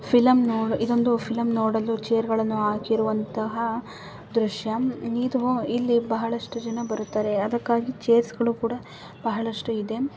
Film ನೋಡ ಇದೊಂದು film ನೋಡಲು ಚೇರ್ಗಳನ್ನು ಹಾಕಿರುವಂತಹ ದೃಶ್ಯ. ಇದು ಇಲ್ಲಿ ಬಹಳಷ್ಟು ಜನ ಬರುತ್ತಾರೆ. ಅದಕ್ಕಾಗಿ ಚೇರ್ಸ್ಗಳು ಕೂಡ ಬಹಳಷ್ಟು ಇದೆ.